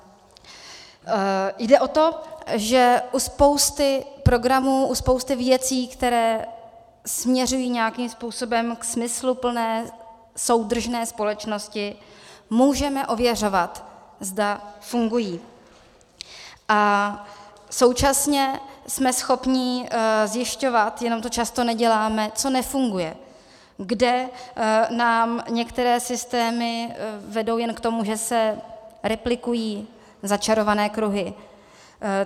Jde o to, že u spousty programů, u spousty věcí, které směřují nějakým způsobem k smysluplné soudržné společnosti, můžeme ověřovat, zda fungují, a současně jsme schopni zjišťovat, jenom to často neděláme, co nefunguje, kde nám některé systémy vedou jen k tomu, že se replikují začarované kruhy.